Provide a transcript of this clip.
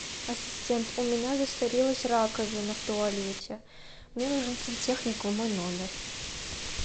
ассистент у меня засорилась раковина в туалете мне нужен сантехник в мой номер